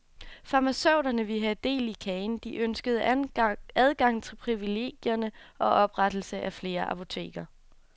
Farmaceuterne ville have del i kagen, de ønskede adgang til privilegierne og oprettelse af flere apoteker.